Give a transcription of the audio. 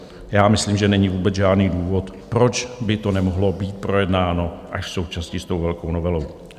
Já myslím, že není vůbec žádný důvod, proč by to nemohlo být projednáno až současně s tou velkou novelou.